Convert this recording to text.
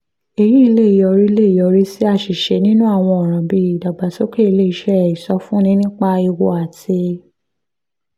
èyí lè yọrí lè yọrí sí àṣìṣe nínú àwọn ọ̀ràn bí ìdàgbàsókè ilé iṣẹ́ ìsọfúnni nípa ewu àti